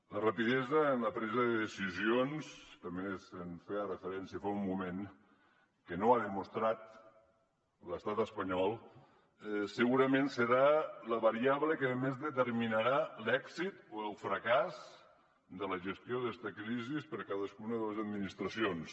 la rapidesa en la presa de decisions també s’hi feia referència fa un moment que no ha demostrat l’estat espanyol segurament serà la variable que més determinarà l’èxit o el fracàs de la gestió d’esta crisi per cadascuna de les administracions